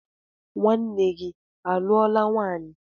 Nwanne gi aluola nwanyi?